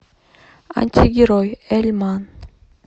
антигерой эльман